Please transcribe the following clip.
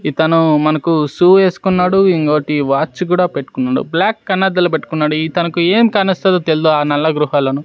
ఇతను మనకు షూ ఏసుకున్నాడు ఇంకోటి వాచ్ కూడా పెట్టుకున్నడు బ్లాక్ కన్నద్దాలు పెట్టుకున్నాడు ఇతనుకు ఎం కానొస్తదో తెల్దు ఆ నల్ల గృహలను --